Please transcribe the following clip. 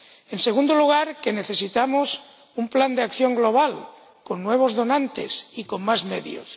En segundo lugar, necesitamos un plan de acción global con nuevos donantes y con más medios.